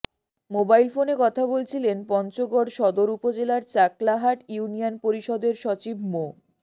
mobile ফোনে কথা বলছিলেন পঞ্চগড় সদর উপজেলার চাকলাহাট ইউনিয়ন পরিষদের সচিব মো